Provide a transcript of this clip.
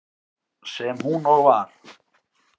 Sem hún og var.